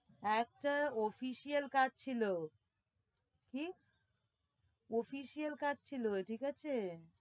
একটা official কাজ ছিল, কি? official কাজ ছিল ঠিক আছে?